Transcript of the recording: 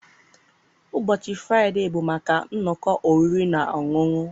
Ụbọchị Fraịde bụ maka nnọkọ oriri na ọṅụṅụ.